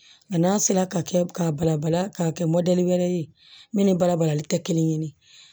A n'a sera ka kɛ k'a balabala k'a kɛ wɛrɛ ye minnu ni balabalalikɛ kelen ɲini